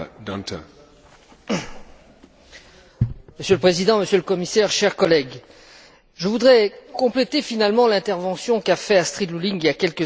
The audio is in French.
Monsieur le Président, Monsieur le Commissaire, chers collègues, je voudrais compléter l'intervention qu'a faite Astrid Lulling il y a quelques instants en comparant trois définitions.